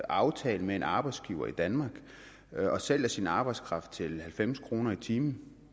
aftale med en arbejdsgiver i danmark og sælger sin arbejdskraft til halvfems kroner i timen